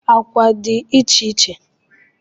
Agwa dị iche iche